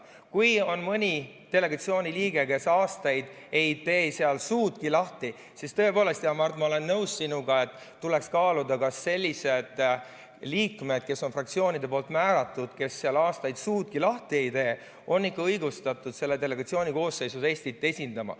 Kui on mõni delegatsiooni liige, kes aastaid ei tee seal suudki lahti, siis tõepoolest, hea Mart, ma olen nõus sinuga, et tuleks kaaluda, kas sellised liikmed, kes on fraktsioonidest määratud, aga aastaid seal suudki lahti ei tee, on ikka õigustatud selle delegatsiooni koosseisus Eestit esindama.